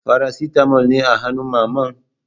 Farasitamol ne a hannun Mamman?